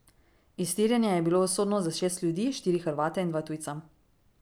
Iztirjenje je bilo usodno za šest ljudi, štiri Hrvate in dva tujca.